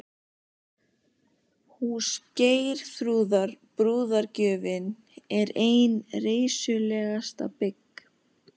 Hús Geirþrúðar, brúðargjöfin, er ein reisulegasta bygg